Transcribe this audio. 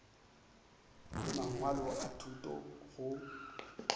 le mangwalo a thuto go